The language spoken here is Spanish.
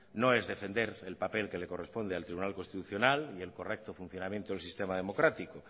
no es defender el papel que le corresponde al tribunal constitucional y el correcto funcionamiento del sistema democrático